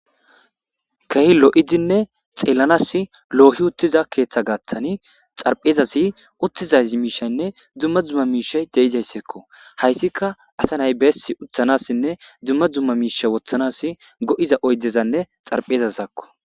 kehi lo7izinne xeellanas loohi uttiza keeththa gaaththani xarphezasi uttizay miishaynne dzumma dzumma miishay deizaysseekko hayssika asa nay beessi uthanassinne dzumma dzumma miisha wothanas go7iza oydezanne xarphezazakko